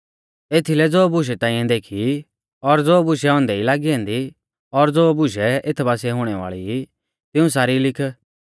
एथीलै ज़ो बुशै ताइंऐ देखी ई और ज़ो बुशै औन्दै ई लागी ऐन्दी और ज़ो बुशै एथ बासिऐ हुणै वाल़ी ई तिऊं सारी लिख